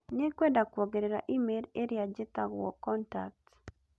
Nĩngwenda kuongerera e-mail ĩrĩa njĩtagwo contacts